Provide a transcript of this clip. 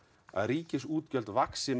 að ríkisútgjöld vaxi með